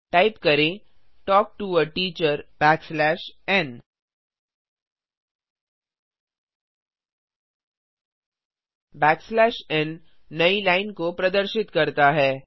type करें talk to a teacher backslash n backslash n n नई line को प्रदर्शित करता है